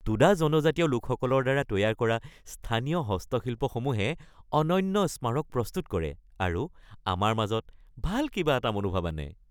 টোডা জনজাতীয় লোকসকলৰ দ্বাৰা তৈয়াৰ কৰা স্থানীয় হস্তশিল্পসমূহে অনন্য স্মাৰক প্ৰস্তুত কৰে আৰু আমাৰ মাজত ভাল কিবা এটা মনোভাব আনে।